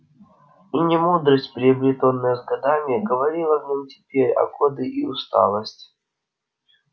и не мудрость приобретённая с годами говорила в нём теперь а годы и усталость